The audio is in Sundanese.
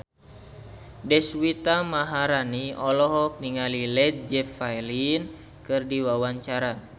Deswita Maharani olohok ningali Led Zeppelin keur diwawancara